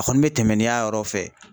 A kɔni bɛ tɛmɛ ni y'a yɔrɔ fɛ.